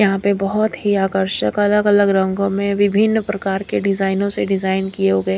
यहां पे बहोत ही आकर्षक अलग अलग रंगों में विभिन्न प्रकार के डिजाइनों से डिजाइन किए हुए--